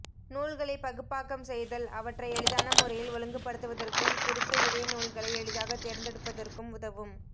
நூல்களை பகுப்பாக்கம் செய்தல் அவற்றை எளிதான முறையில் ஒழுங்குபடுத்துவதற்கும் குறித்த விடய நூல்களை எளிதாக தேர்ந்தெடுப்பதற்கும் உதவும்